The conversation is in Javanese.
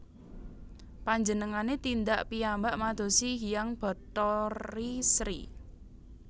Panjenengane tindak piyambak madosi Hyang Bathari Sri